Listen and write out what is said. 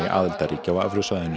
aðildarríkja á evrusvæðinu